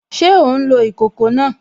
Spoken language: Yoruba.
Ṣé ò ń lo ìkòkò náà?